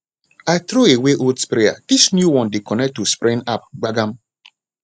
i throw away old sprayer this new one dey connect to spraying app gbagam